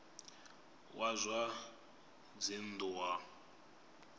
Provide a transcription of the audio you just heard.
wa zwa dzinn ḓu wa